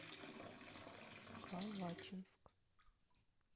калачинск